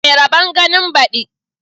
Mai rabon ganin baɗi